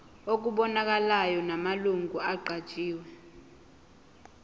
okubonakalayo namalungu aqanjiwe